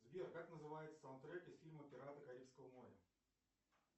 сбер как называется саундтрек из фильма пираты карибского моря